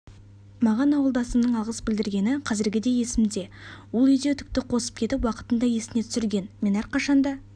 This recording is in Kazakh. маған ауылдасымның алғыс білдіргені қазіргідей есімде ол үйде үтікті қосып кетіп уақытында есіне түсірген мен әрқашанда